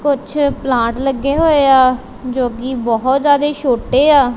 ਕੁਛ ਪਲਾਂਟ ਲੱਗੇ ਹੋਏ ਆ ਜੋ ਗੀ ਬਹੁਤ ਜਿਆਦੇ ਛੋਟੇ ਆ।